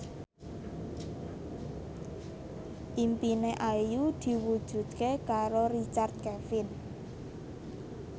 impine Ayu diwujudke karo Richard Kevin